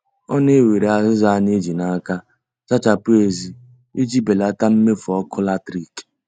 Ọ na-ewere azịza a na-eji n' aka zachapụ èzí iji belata mmefu ọkụ latrik